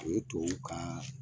O tubabuw ka